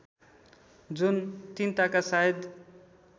जुन तिनताका सायद